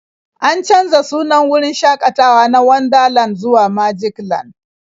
An canza sunan wurin shakatawa na Wonderland zuwa Magicland.